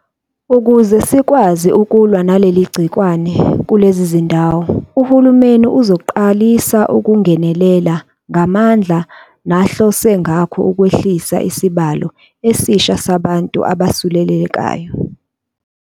Ukuze sikwazi ukulwa naleli gciwane kulezi zindawo, uhulumeni uzoqalisa ukungenelela ngamandla nahlose ngakho ukwehlisa isibalo esisha sabantu abesulelekayo.